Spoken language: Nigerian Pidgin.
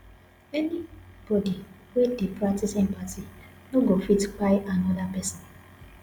anybodi wey dey practice empathy no go fit kpai anoda pesin